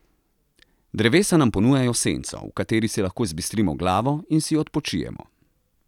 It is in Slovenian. Drevesa nam ponujajo senco, v kateri si lahko zbistrimo glavo in si odpočijemo.